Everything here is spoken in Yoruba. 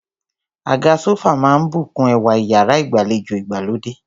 Àga sófà máà ń bùkún ẹwà iyàrá ìgbàlejò ìgbàlódé.